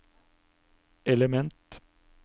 element